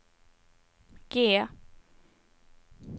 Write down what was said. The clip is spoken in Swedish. G